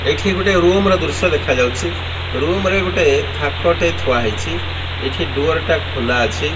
ଏଇଠି ଗୋଟେ ରୁମ ର ଦୃଶ୍ୟ ଦେଖାଯାଉଚି ରୁମ ରେ ଗୋଟେ ଥାକ ଟେ ଥୁଆ ହେଇଛି ଏଠି ଡୁଅର ଟା ଖୋଲା ଅଛି।